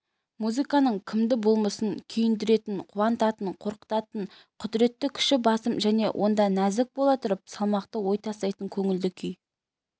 музыканың кімді болмасын күйіндіретін қуантатын қорқытатын құдіретті күші басым және онда нәзік бола тұрып салмақты ой тастайтын көңілді күй